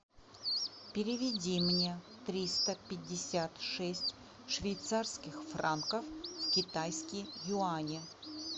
переведи мне триста пятьдесят шесть швейцарских франков в китайские юани